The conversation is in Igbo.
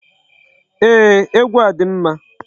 Ee, egwu a dị mma.